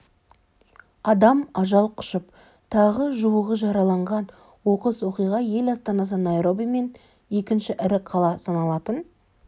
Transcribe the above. адам ажал құшып тағы жуығы жараланған оқыс оқиға ел астанасы найроби мен екінші ірі қала саналатын